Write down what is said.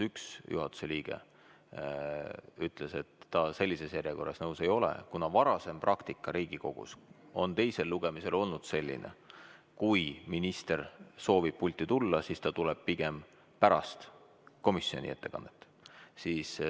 Üks juhatuse liige ütles, et tema ei ole komisjoni pakutud järjekorraga nõus, kuna varasem praktika on Riigikogus teisel lugemisel olnud selline, et kui minister soovib pulti tulla, siis ta tuleb pigem pärast komisjoni ettekandjat.